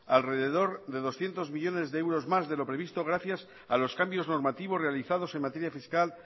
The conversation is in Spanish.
alrededor de doscientos millónes de euros más de lo previsto gracias a los cambios normativos realizados en materia fiscal